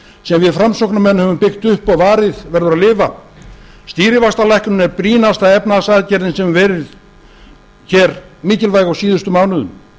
sem við framsóknarmenn höfum byggt upp og varið verður að lifa stýrivaxtalækkunin er brýnasta efnahagsaðgerðin sem verið hefur hér mikilvæg á síðustu mánuðum